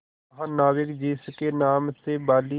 महानाविक जिसके नाम से बाली